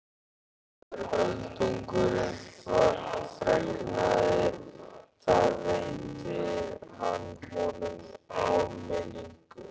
Þegar Öldungurinn fregnaði það veitti hann honum áminningu.